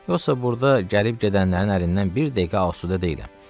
Yoxsa burda gəlib gedənlərin əlindən bir dəqiqə asudə deyiləm.